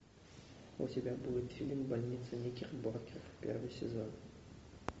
у тебя будет фильм больница никербокер первый сезон